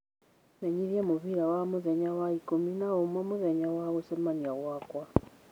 menyithia mũbira wa mũthenya wa ikũmi na ũmwe mũthenya wa gũcemania gwakwa